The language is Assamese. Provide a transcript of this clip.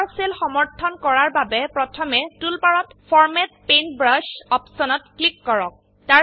তলৰ সেল সমৰ্থনকৰাৰ বাবে প্ৰথমে টুলবাৰত ফৰমাত পেইণ্টব্ৰাছ অপশনত ক্লিক কৰক